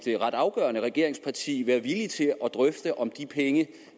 ret afgørende regeringsparti være villig til at drøfte om de penge